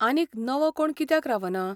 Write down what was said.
आनीक नवो कोण कित्याक रावना?